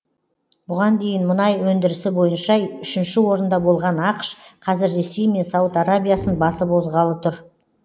бұған дейін мұнай өндірісі бойынша үшінші орында болған ақш қазір ресей мен сауд арабиясын басып озғалы тұр